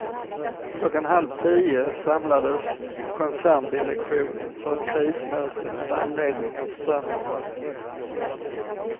Klockan halv tio samlades koncerndirektionen för ett krismöte med anledning av strömavbrotten.